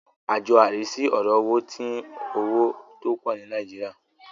Àjọ arísí ọ̀rọ̀ owó ti ń owó tó pọ̀ ní Nìàjíríà.